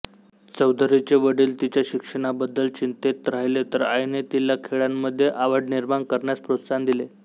चौधरीचे वडील तिच्या शिक्षणाबद्दल चिंतेत राहिले तर आईने तिला खेळांमध्ये आवड निर्माण करण्यास प्रोत्साहन दिले